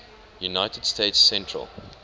united states central